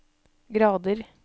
grader